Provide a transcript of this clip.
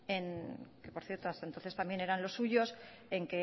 que por cierto hasta entonces también eran los suyos